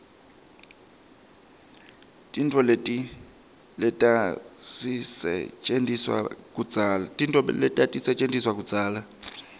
tintfo letatisetjentiswa kudzala